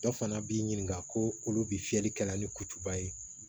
Dɔ fana b'i ɲininka ko olu bi fiyɛli kɛla ni kutuba ye